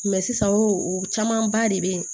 sisan o camanba de bɛ yen